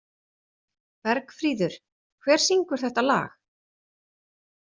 Bergfríður, hver syngur þetta lag?